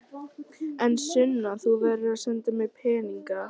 En Sunna, þú verður að senda mér peninga.